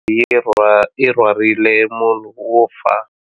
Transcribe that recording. Yi rhwarile munhu wo fa.